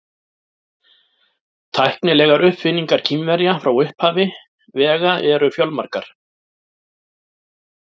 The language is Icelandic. Tæknilegar uppfinningar Kínverja frá upphafi vega eru fjölmargar.